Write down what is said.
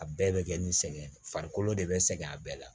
A bɛɛ bɛ kɛ ni sɛgɛn farikolo de bɛ sɛgɛn a bɛɛ la